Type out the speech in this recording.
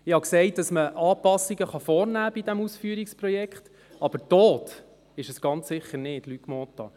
Ich habe gesagt, man könne an diesem Ausführungsprojekt Anpassungen vornehmen, aber ist es ganz sicher nicht, Luc Mentha.